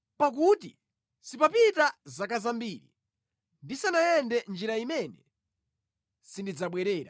“Pakuti sipapita zaka zambiri ndisanayende mʼnjira imene sindidzabwerera.”